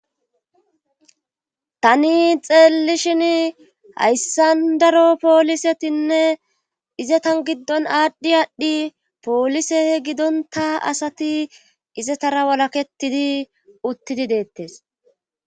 Tani xeelli shin hayssandaro poolisetinne izetan giddon aadhdhi aadhdhi poolise gidonta asati izetara walakettidi uttidi deettes.